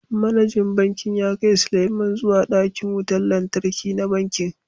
Manajan Bankin ya kai Sulieman zuwa dakin wutar lantarki na bankin